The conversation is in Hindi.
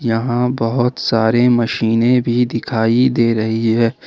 यहां बहोत सारी मशीनें भी दिखाई दे रही है।